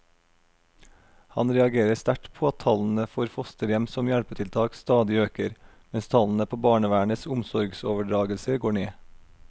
Han reagerer sterkt på at tallene for fosterhjem som hjelpetiltak stadig øker, mens tallene på barnevernets omsorgsoverdragelser går ned.